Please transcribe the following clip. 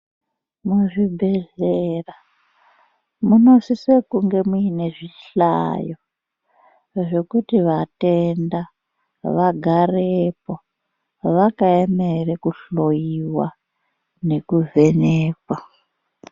Muzvibhedhlera munosise kunge muine zvihlayo zvekuti vatenda vagarepo vakaemera kuhloyiwa nekuvhenekwa.